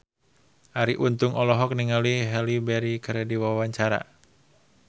Arie Untung olohok ningali Halle Berry keur diwawancara